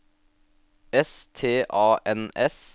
S T A N S